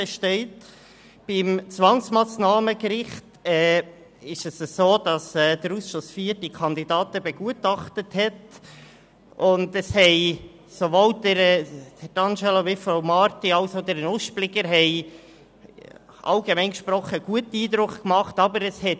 Für das Zwangsmassnahmengericht hat der Ausschuss IV die Kandidaten begutachtet, und es haben sowohl Herr D’Angelo, Frau Marti als auch Herr Nuspliger allgemein gesprochen einen guten Eindruck hinterlassen.